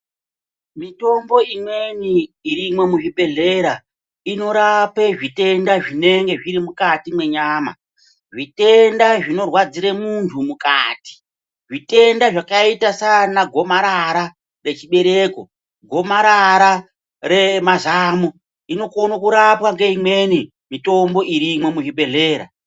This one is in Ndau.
Mitombo imweni irimwo muzvibhedhlera, inorape zvitenda zvimweni zvinenge zviri mukati mwenyama, zvitenda zvinorwadzire muntu mukati, zvitenda zvakaita sana gomarara nechibereko, gomarara remazamo inokone kurapwa ngeimweni mitombo irimwo muzvibhedhlera.